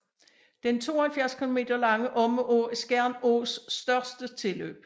Den 72 kilometer lange Omme Å er Skjern Ås største tilløb